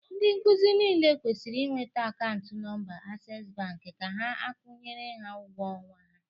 Ndị nkuzi niile kwesịrị ị weta akaụntụ nọmba Ases Bank ha ka akwụnyere ha ụgwọ ọnwa ha